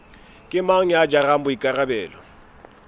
ke mang ya jarang boikarabelo